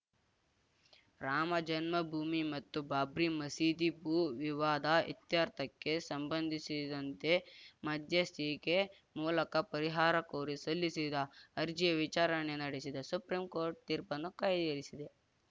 ರಾಮಜನ್ಮ ಭೂಮಿ ಮತ್ತು ಬಾಬ್ರಿ ಮಸೀದಿ ಭೂ ವಿವಾದ ಇತ್ಯರ್ಥಕ್ಕೆ ಸಂಬಂಧಿಸಿದಂತೆ ಮಧ್ಯಸ್ಥಿಕೆ ಮೂಲಕ ಪರಿಹಾರ ಕೋರಿ ಸಲ್ಲಿಸಿದ್ದ ಅರ್ಜಿಯ ವಿಚಾರಣೆ ನಡೆಸಿದ ಸುಪ್ರೀಂ ಕೋರ್ಟ್ ತೀರ್ಪನ್ನು ಕಾಯ್ದಿರಿಸಿದೆ